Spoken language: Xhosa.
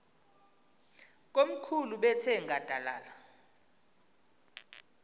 komkhulu bethe nqadalala